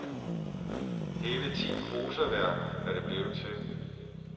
Hele ti prosaværker er det blevet til.